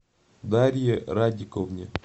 дарье радиковне